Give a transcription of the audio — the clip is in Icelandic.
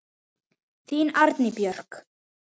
Þín, Anný Björg.